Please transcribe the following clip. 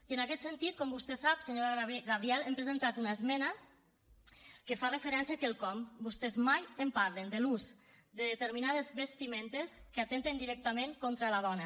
i en aquest sentit com vostè sap senyora gabriel hem presentant una esmena que fa referència a quelcom que vostès mai en parlen l’ús de determinades vestimentes que atempten directament contra la dona